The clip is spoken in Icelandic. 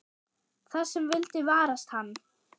Það sem vildi varast hann.